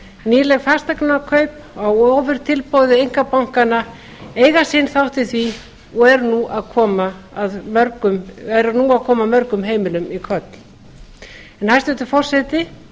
nýleg fasteignakaup á ofurtilboði einkabankanna eiga sinn þátt í því og eru nú að koma mörgum heimilum í koll hæstvirtur forseti